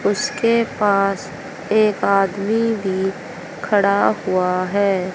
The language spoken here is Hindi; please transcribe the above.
उसके पास एक आदमी भी खड़ा हुआ है।